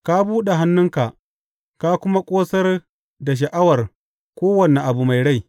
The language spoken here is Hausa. Ka buɗe hannunka ka kuma ƙosar da sha’awar kowane abu mai rai.